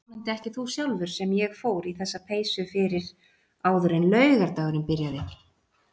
Vonandi ekki þú sjálfur sem ég fór í þessa peysu fyrir áður en laugardagurinn byrjaði.